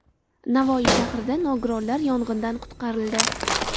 Navoiy shahrida nogironlar yong‘indan qutqarildi.